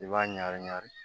I b'a ɲagami ɲagami